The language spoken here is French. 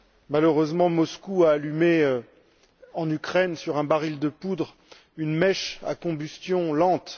Malheureusement, Moscou a allumé, en Ukraine, sur un baril de poudre, une mèche à combustion lente.